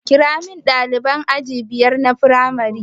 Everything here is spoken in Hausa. Kiramin ɗaliban aji biyar na firamare